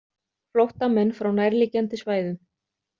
Flóttamenn frá nærliggjandi svæðum.